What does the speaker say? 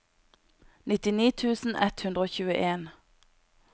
nittini tusen ett hundre og tjueen